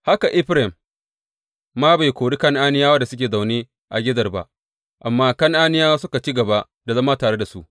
Haka Efraim ma bai kori Kan’aniyawa da suke zaune a Gezer ba, amma Kan’aniyawa suka ci gaba da zama tare da su.